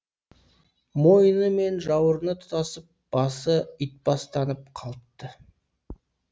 мойны мен жауырыны тұтасып басы итбастанып қалыпты